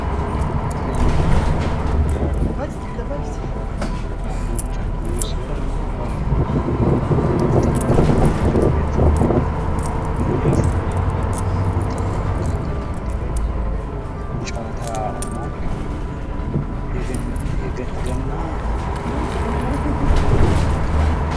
ገና በኢትዮጵያ ከሚገኙ ባህሎች አንዱ ሲሆን ይህም ጥንግ በማዘጋጀትወይም ሩድ በማዘጋጀት በወጣቶች መካከል የሚደረግ ጨዋታ ነው። ገና በኢትዮጵያ መች ጀምሮ መከበር ጀመረ?